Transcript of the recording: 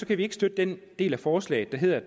kan vi ikke støtte den del af forslaget der handler